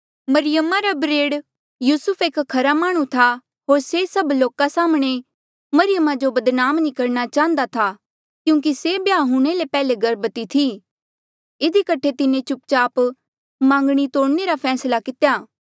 मरियमा रा बरेड़ युसुफ एक खरा माह्णुं था होर से सब लोका साम्हणें मरियमा जो बदनाम नी करणा चाहन्दा था क्यूंकि से ब्याह हूणे ले पेहले गर्भवती थी इधी कठे तिन्हें चुप चाप मांगणी तोड़णे रा फैसला कित्या